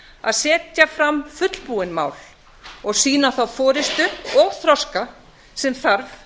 að setja fram fullbúin mál og sýna þá forustu og þroska sem þarf